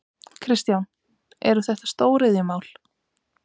Kristján: Eru þetta stóriðjumál?